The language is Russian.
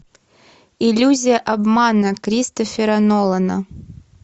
иллюзия обмана кристофера нолана